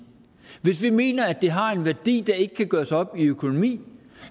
hvis vi mener at det har en værdi der ikke kan gøres op i økonomi